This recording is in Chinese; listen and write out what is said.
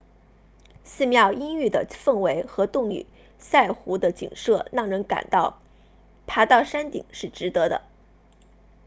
寺庙阴郁的氛围和洞里萨湖 tonle sap 的景色让人感到爬到山顶是值得的